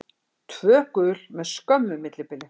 Tvö gul með skömmu millibili.